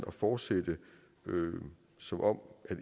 at fortsætte som om